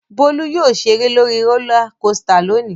Bólú yóò ṣeré lórí rólá kosità lónìí.